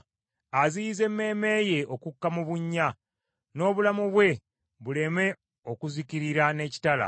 aziyize emmeeme ye okukka mu bunnya, n’obulamu bwe buleme okuzikirira n’ekitala.